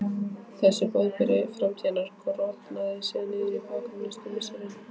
Þessi boðberi framtíðarinnar grotnaði síðan niður í bakgarðinum næstu misserin.